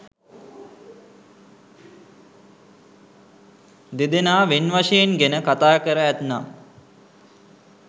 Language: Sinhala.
දෙදෙනා වෙන් වශයෙන් ගෙන කථාකර ඇත්නම්